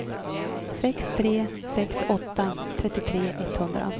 sex tre sex åtta trettiotre etthundra